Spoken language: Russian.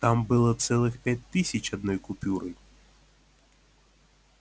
там было целых пять тысяч одной купюрой